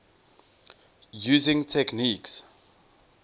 using techniques